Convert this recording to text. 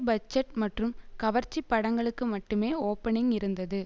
budget மற்றும் கவர்ச்சி படங்களுக்கு மட்டுமே ஓபனிங் இருந்தது